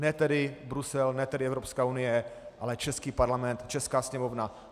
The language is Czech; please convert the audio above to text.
Ne tedy Brusel, ne tedy Evropská unie, ale český parlament, česká sněmovna.